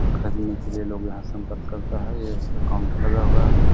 खरीने के लिए लोग यहाँ संपर्क करता है यहाँ पे काउंटर लगा हुआ है।